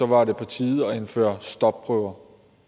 var det på tide at indføre stopprøver